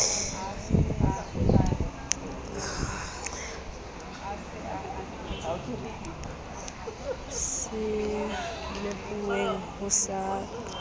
se nehuweng ho sa tsotellwe